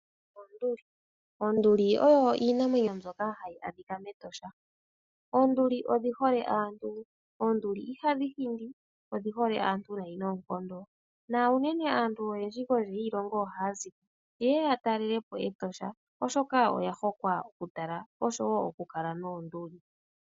Oonduli. Oonduli oyo iinamwenyo mbyoka hayi adhika mEtosha. Oonduli odhi hole aantu. Oonduli ihadhi hindi, odhi hole aantu nayi noonkondo, na unene aantu oyendji kondje yiilongo ohaya zi ko yeye ya talele po Etosha oshoka oya hokwa okutala, osho wo oku kala noonduli.